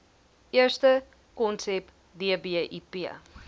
eerste konsep dbip